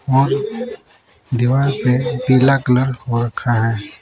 और दीवार पे पीला कलर हो रखा है।